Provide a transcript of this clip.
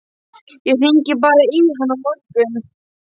Ég hringi bara í hann á morgun.